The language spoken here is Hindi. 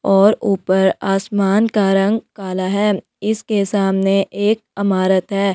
और ऊपर आसमान का रंग काला है और इसके सामने एक अमारात है.